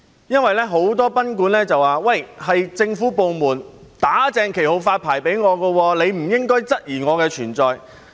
由於很多賓館表示："是政府部門'打正旗號'發牌給我，你不應該質疑我的存在"。